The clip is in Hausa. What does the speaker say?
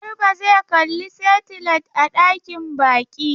Garba zai kalli saitilait a dakin baƙi.